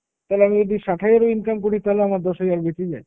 তালে আমি যদি ষাট হাজারও income করি তালে আমার দশ হাজার বেঁচে যায়।